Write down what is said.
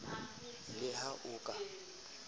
le ha a o ka